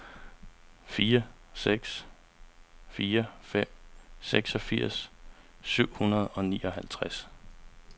fire seks fire fem seksogfirs syv hundrede og nioghalvtreds